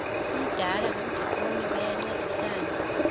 umdala nomdikoni bayancedisana